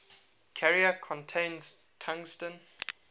carrier contains tungsten